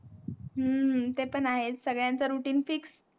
हम्म ते पण आहे सर्वांचे Routine fix